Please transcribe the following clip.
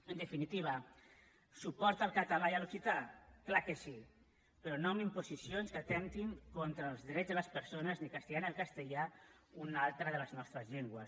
en definitiva suport al català i a l’occità clar que sí però no amb imposicions que atemptin contra els drets de les persones ni castigant el castellà una altra de les nostres llengües